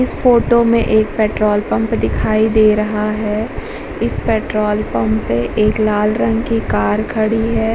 इस फोटो में एक पेट्रोल पंप दिखाई दे रहा है इस पेट्रोल पंप पे एक लाल रंग की कार खड़ी है।